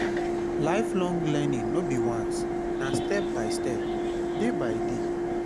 lifelong learning no be once na step by step day by day